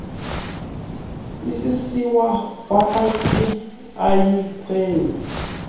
isisiwa kwamantyi iyikheshi